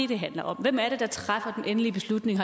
det handler om hvem er det der træffer den endelige beslutning